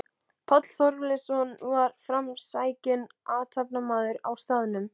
Páll Þorleifsson var framsækinn athafnamaður á staðnum.